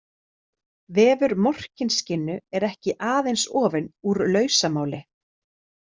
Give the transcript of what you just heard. Vefur Morkinskinnu er ekki aðeins ofinn úr lausamáli.